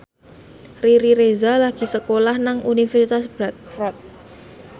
Riri Reza lagi sekolah nang Universitas Bradford